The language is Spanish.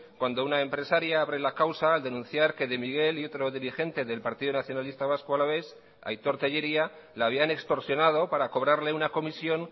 cuando una empresaria abre la causa al denunciar que de miguel y otro dirigente del partido nacionalista vasco alavés aitor tellería la habían extorsionado para cobrarle una comisión